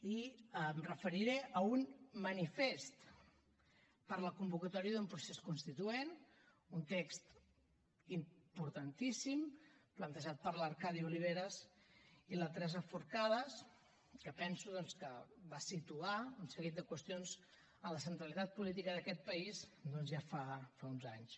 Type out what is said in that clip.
i em referiré a un manifest per la convocatòria d’un procés constituent un text importantíssim plantejat per l’arcadi oliveres i la teresa forcades que penso que va situar un seguit de qüestions en la centralitat política d’aquest país doncs ja fa uns anys